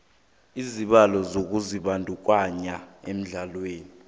isibawo sokuzibandakanya ehlelweni